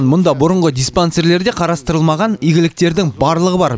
мұнда бұрынғы диспансерлерде қарастырылмаған игіліктердің барлығы бар